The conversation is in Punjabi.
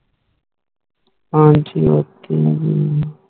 ਹਾਂ ਹੋਰ ਕੈਨਾ ਕਿ ਹੈ